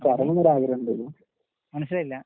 മനസ്സിലായില്ല.